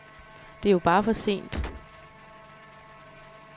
Det er jo bare for sent.